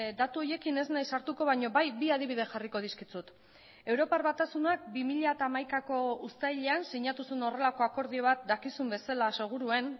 datu horiekin ez naiz sartuko baina bai bi adibide jarriko dizkizut europar batasunak bi mila hamaikako uztailean sinatu zuen horrelako akordio bat dakizun bezala seguruen